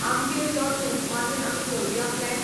आमगेर यो तूं मागीर आमी करुया प्लॅन ?